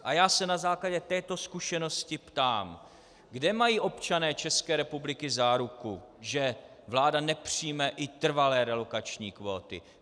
A já se na základě této zkušenosti ptám: Kde mají občané České republiky záruku, že vláda nepřijme i trvalé relokační kvóty?